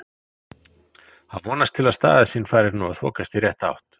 Hann vonast til að sín staða fari nú að þokast í rétta átt.